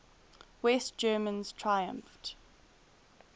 west germans triumphed